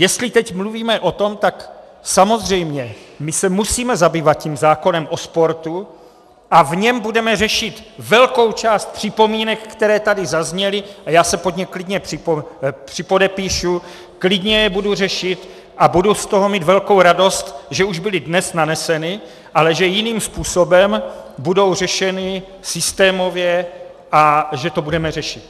Jestli teď mluvíme o tom, tak samozřejmě my se musíme zabývat tím zákonem o sportu a v něm budeme řešit velkou část připomínek, které tady zazněly, a já se pod ně klidně připodepíšu, klidně je budu řešit a budu z toho mít velkou radost, že už byly dnes naneseny, ale že jiným způsobem budou řešeny systémově a že to budeme řešit.